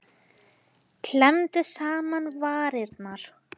Klemmdi saman varirnar.